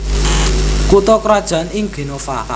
Kutha krajan ing Genova